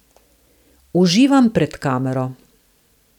Uživam pred kamero.